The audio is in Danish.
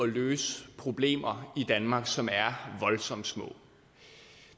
løse problemer i danmark som er voldsomt små